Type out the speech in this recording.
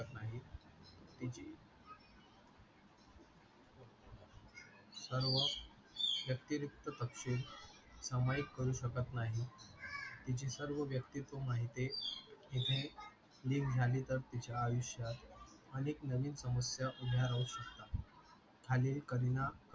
व्यक्तिरिकत थत्ते सामविक करू शकत नाही तिची सर्व व्यक्तित्व माहिते इथे लीक झाली तर तिचा आयुष्यात अनेक समस्या उभ्या राहू शकतात.